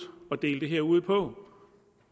at dele det her ud på